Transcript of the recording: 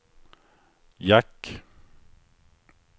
jack